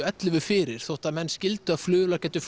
ellefu fyrir þótt að menn skildu að flugvélar gæti